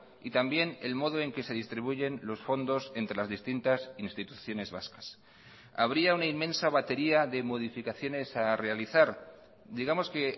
y también el modo en que se distribuyen los fondos entre las distintas instituciones vascas habría una inmensa batería de modificaciones a realizar digamos que